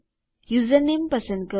username પસંદ કરો